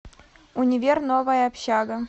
универ новая общага